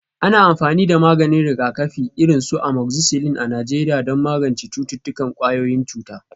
Ana amfani da maganin rigakafi, irin su amoxicillin a Najeriya don magance cututtukan ƙwayoyin cuta.